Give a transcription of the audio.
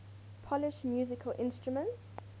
polish musical instruments